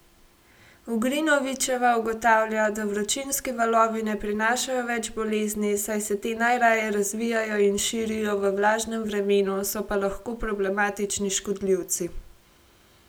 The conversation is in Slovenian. Ugrinovićeva ugotavlja, da vročinski valovi ne prinašajo več bolezni, saj se te najraje razvijajo in širijo v vlažnem vremenu, so pa lahko problematični škodljivci.